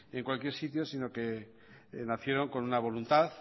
en cualquier sitio sino que nacieron con una voluntad